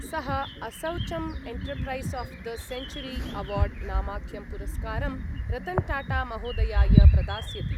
सः असौचम् enterprise of the century award नामाख्यं पुरस्कारं रतन् टाटामहोदयाय प्रदास्यति।